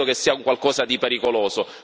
Io credo che sia un qualcosa di pericoloso